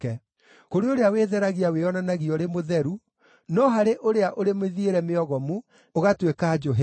kũrĩ ũrĩa wĩtheragia wĩonanagia ũrĩ mũtheru, no harĩ ũrĩa ũrĩ mĩthiĩre mĩogomu ũgatuĩka njũhĩga.